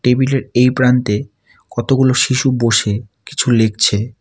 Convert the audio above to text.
Table -এর এই প্রান্তে কতগুলো শিশু বসে কিছু লিখছে।